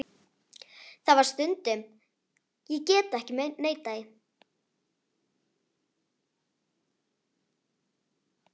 Það var það stundum, ég get ekki neitað því.